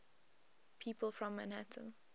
people from manhattan